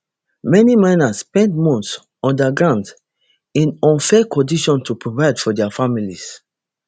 many miners spend months underground in unsafe conditions to provide for dia families